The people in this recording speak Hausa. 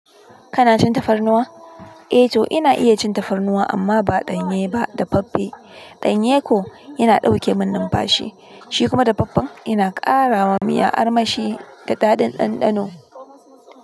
Kana cin tafarnuwa? Eh, to ina iya cin tafarnuwa amma ba danye ba da faffe. Danye ko yana dauke min numfashi, shi kuma dafaffen yana karawa miya armashi da daɗin ɗanɗano.